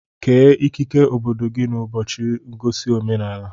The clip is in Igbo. Kee ekike obodo gị n'ụbọchị ngosi omenaala